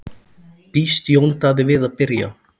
Býst Jón Daði við að byrja?